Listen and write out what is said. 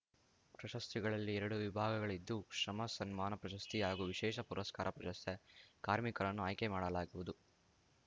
ಪ್ರಶಸ್ತಿಗಳಲ್ಲಿ ಎರಡು ವಿಭಾಗಗಳಿದ್ದು ಶ್ರಮ ಸನ್ಮಾನ ಪ್ರಶಸ್ತಿ ಹಾಗೂ ವಿಶೇಷ ಪುರಸ್ಕಾರ ಪ್ರಶಸ್ತಿ ಕಾರ್ಮಿಕರನ್ನು ಆಯ್ಕೆ ಮಾಡಲಾಗುವುದು